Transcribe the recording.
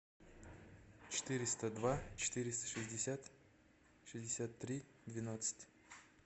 четыреста два четыреста шестьдесят шестьдесят три двенадцать